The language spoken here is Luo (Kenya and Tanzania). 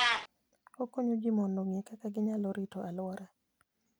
Okonyo ji mondo ong'e kaka ginyalo rito alwora.